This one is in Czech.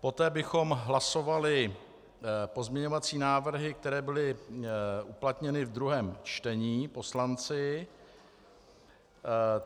Poté bychom hlasovali pozměňovací návrhy, které byly uplatněny ve druhém čtení poslanci.